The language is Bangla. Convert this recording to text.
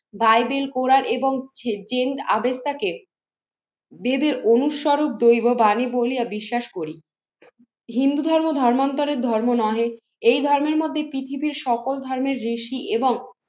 বাইবেল কোরান এবং জেন্ট আবেগটাকে দেবের অনুস্বরূপ, দৈব বাণী বলিয়া বিশ্বাস করি। হিন্দু ধর্মান্তরের ধর্ম নহে, এই ধর্মের মধ্যে পৃথিবীর সকল ধর্মের ঋষি এবং